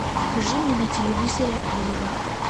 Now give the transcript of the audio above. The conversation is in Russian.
покажи мне на телевизоре олива